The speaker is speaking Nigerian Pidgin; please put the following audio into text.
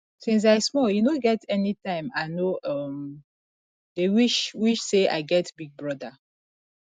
since i small e no get anytime i no um dey wish wish say i get big brother